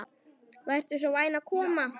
Vertu svo vænn að koma.